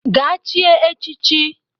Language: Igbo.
Gaa chie echichi